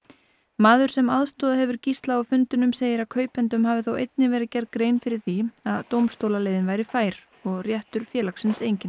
maður sem aðstoðað hefur Gísla á fundunum segir að kaupendum hafi þó einnig verið gerð grein fyrir því að dómstólaleiðin væri fær og réttur félagsins enginn